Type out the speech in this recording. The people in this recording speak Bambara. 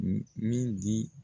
Min di